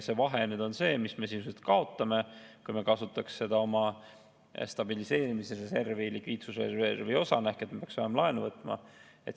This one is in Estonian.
See vahe nüüd on see, mis me sisuliselt kaotame, kui me kasutaks oma stabiliseerimisreservi likviidsusreservi osana ehk me peaks laenu võtma.